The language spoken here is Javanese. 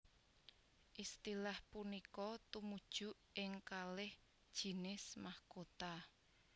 Istilah punika tumuju ing kalih jinis mahkota